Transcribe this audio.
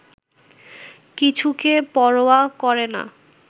কিছুকে পরোয়া করে না